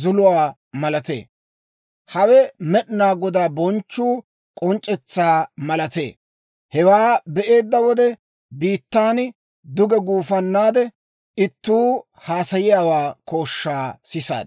zuluwaa malatee. Hawe Med'inaa Godaa bonchchuwaa k'onc'c'etsaa malatee. Hewaa be'eedda wode, biittan duge gufannaade, ittuu haasayiyaa kooshshaa sisaad.